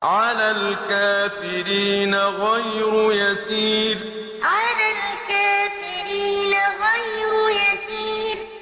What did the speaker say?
عَلَى الْكَافِرِينَ غَيْرُ يَسِيرٍ عَلَى الْكَافِرِينَ غَيْرُ يَسِيرٍ